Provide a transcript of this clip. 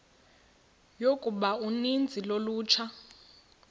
yokuba uninzi lolutsha